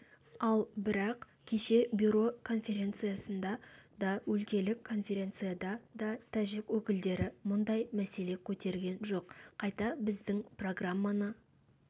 ал бірақ кеше бюро конференциясында да өлкелік конференцияда да тәжік өкілдері мұндай мәселе көтерген жоқ қайта біздің программаны